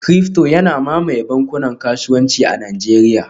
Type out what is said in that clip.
ciryfto yana mamaye bankunan kasuwanci a Najeriya